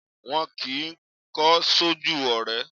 Wọn kì í kọ́ sójú ọ̀rẹ́